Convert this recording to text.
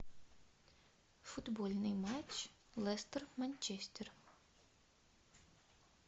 футбольный матч лестер манчестер